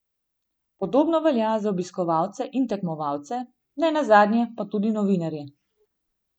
Podobno velja za obiskovalce in tekmovalce, nenazadnje pa tudi novinarje.